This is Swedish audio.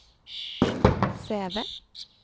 Säve